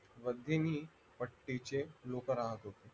वधीनी पट्टीचे लोक राहत होते